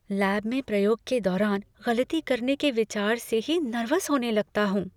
Lab में प्रयोग के दौरान गलती करने के विचार से ही नर्वस होने लगता हूँ।